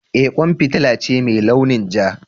Eh kwan fitila ce mai launin ja.